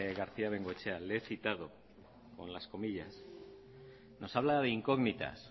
garcía bengoechea le he citado con las comillas nos habla de incógnitas